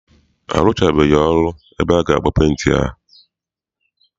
Arụchabeghi ụlọ ebe aga agba penti a.